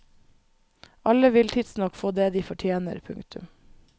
Alle vil tidsnok få det de fortjener. punktum